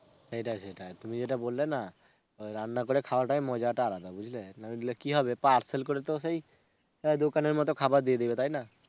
সেটাই সেটাই, তুমি যেটা বললে না রান্না করে খাওয়াটাই মজাটাই আলাদা বুঝলে? নইলে কি হবে parcel করে তো সেই দোকানের মতোই খাবার দিয়ে দিবে, তাইনা?